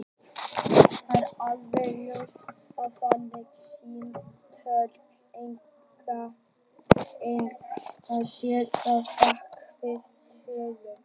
Það er alveg ljóst að þannig símtöl eiga sér stað bak við tjöldin.